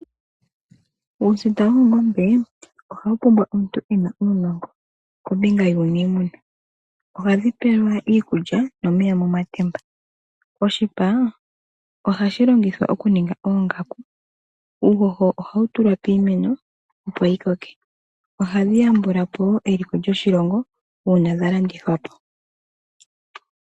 Uusita woongombe ohawu pumbwa omuntu e na uunongo kombinga yuuniimuna. Ohadhi pelwa iikulya nomeya momatemba. Oshipa ohashi longithwa okuninga oongaku, uuhoho ohawu tulwa piimeno, opo yi koke. Ohadhi yambula po wo eliko lyoshilongo uuna dha landithwa po.